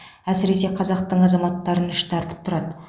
әсіресе қазақтың азаматтарын іштартып тұрады